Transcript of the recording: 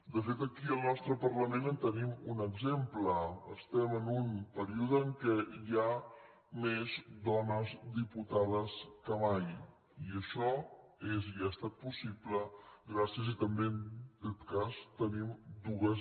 de fet aquí al nostre par·lament en tenim un exemple estem en un període en què hi ha més dones diputades que mai i això és i ha estat possible gràcies i també en tot cas tenim dues